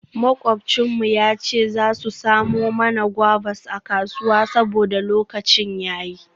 Makwabcin mu ya ce za su samo mana guavas a kasuwa saboda lokacin ya yi.